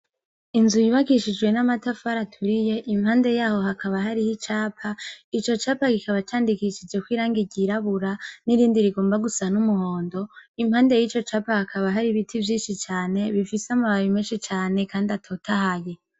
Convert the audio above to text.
Inzu yubakishijwe n' amatafari aturiye impande yaho hakaba hariho icapa ico capa kikaba candikishijeko irangi ryirabura n' irindi rigomba gusa n' umuhondo impande yico capa hakaba hari ibiti vyinshi cane bifise amababi menshi cane kandi atotahaye.